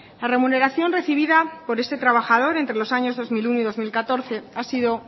la remuneración recibida por este trabajador entre los años dos mil uno y dos mil catorce ha sido